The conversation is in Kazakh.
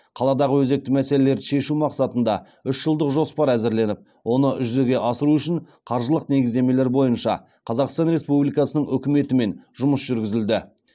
қаладағы өзекті мәселелерді шешу мақсатында үш жылдық жоспар әзірленіп оны жүзеге асыру үшін қаржылық негіздемелер бойынша қазақстан республикасының үкіметімен жұмыс жүргізілді